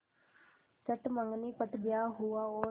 चट मँगनी पट ब्याह हुआ और